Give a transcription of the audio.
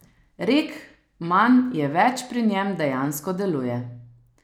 Rek manj je več pri njem dejansko deluje.